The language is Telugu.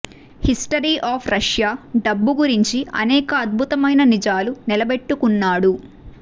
హిస్టరీ అఫ్ రష్యా డబ్బు గురించి అనేక అద్భుతమైన నిజాలు నిలబెట్టుకున్నాడు